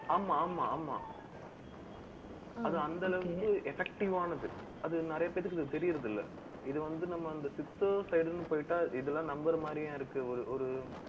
ஆமா, ஆமா, ஆமா. அது அந்த அளவுக்கு effective ஆனது அது நிறைய பேருக்கு இது தெரியறது இல்லை. இது வந்து, நம்ம அந்த சித்தர் side ன்னு போயிட்ட, இதெல்லாம் நம்பற மாதிரியும் இருக்கு. ஒரு~ஒரு